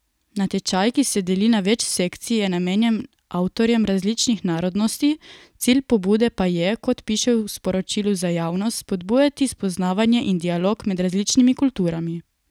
Natečaj, ki se deli na več sekcij, je namenjen avtorjem različnih narodnosti, cilj pobude pa je, kot piše v sporočilu za javnost, spodbujati spoznavanje in dialog med različnimi kulturami.